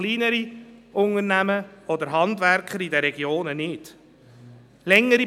Kleinere Unternehmungen und Handwerker in den Regionen sind dazu meist nicht in der Lage.